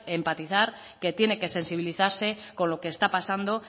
empatizar que tiene que sensibilizarse con lo que está pasando